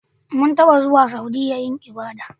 Mun taba zuwa Saudiya yin ibada.